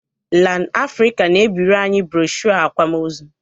Lan Afrịka na-ebiri anyị broshu akwamozu